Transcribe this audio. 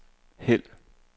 hæld